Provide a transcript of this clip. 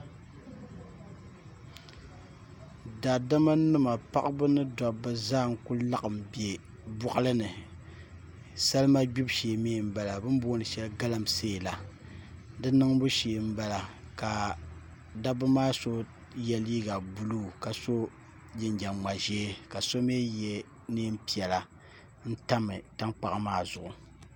daadamanima paɣaba ni dabba zaa n kuli laɣin be bɔɣili ni salima gbibu shee mi m-bala bɛ ni booni shɛli galamsee la di niŋbu shee m-bala ka dabba maa so ye liiga buluu ka so jinjam-ŋma' ʒee ka so mi ye neen' piɛ-la n tam tankpaɣu maa zuɣu